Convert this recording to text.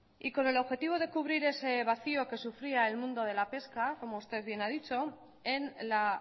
y con el objetivo de cubrir ese vacío que sufría el mundo de la pesca como usted bien ha dicho en la